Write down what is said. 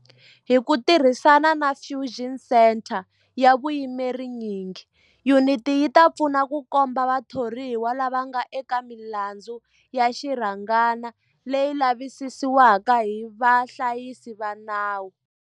Hi ku tirhisana na Fusion Centre ya vuyimeri nyingi, yuniti yi ta pfuna ku komba vathoriwa lava nga eka milandzu ya xirhangana leyi lavisisiwaka hi vahlayisi va nawu.